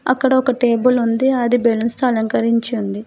అక్కడ ఒక టేబుల్ ఉంది అది బేలూన్స్ తో అలంకరించి ఉంది.